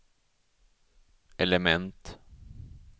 element